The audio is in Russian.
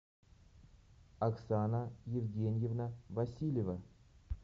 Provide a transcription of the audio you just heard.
оксана евгеньевна васильева